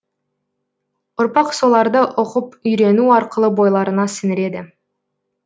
ұрпақ соларды оқып үйрену арқылы бойларына сіңіреді